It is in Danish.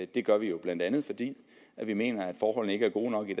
det gør vi jo blandt andet fordi vi mener at forholdene ikke er gode nok i